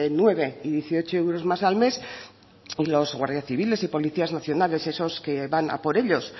nueve y dieciocho euros más al mes y los guardia civiles y policías nacionales esos que van a por ellos